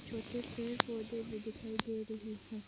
छोटे पेड़ पौधे भी दिखाई दे रही है।